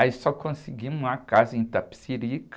Aí só conseguimos uma casa em Itapecirica.